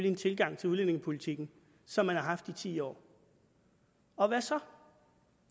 en tilgang til udlændingepolitikken som man har haft i ti år og hvad så